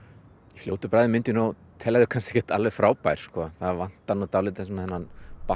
fljótu bragði myndi ég nú telja þau ekki alveg frábær það vantar dálítið þennan